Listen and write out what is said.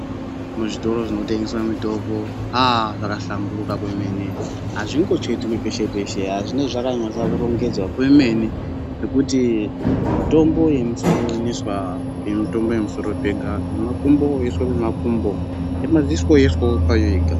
Muzvitoro zvinotengeswa mitombo aaa zvakahlamburuka kwemene azvingochetwi peshe peshe zvinenge zvakanyatsorongedzwa kwemene zvekuti mitombo yemusoro inoiswa pemisoro pega yemakumbo yoiswa pemakumbo yemadziso yoiswawo payo yega.